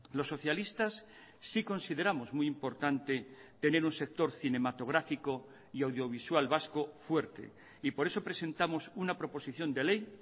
los socialistas sí consideramos muy importante tener un sector cinematográfico y audiovisual vasco fuerte y por eso presentamos una proposición de ley